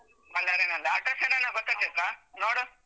ಬಳ್ಳಾರಿನಲ್ಲ, address ಏನಾದ್ರು ಗೊತ್ತಾ ಚೈತ್ರ ನೋಡು.